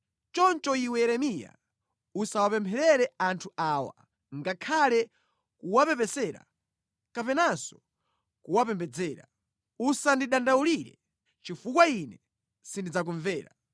“Choncho iwe Yeremiya usawapempherere anthu awa ngakhale kuwapepesera kapenanso kuwapembedzera; usandidandaulire, chifukwa Ine sindidzakumvera.